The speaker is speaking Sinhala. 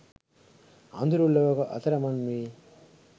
අඳුරු ලොවක අතරමං වී